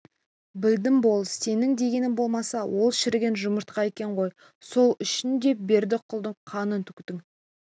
білдім болыс сенің дегенің болмаса ол шіріген жұмыртқа екен ғой сол үшін де бердіқұлдың қанын төктің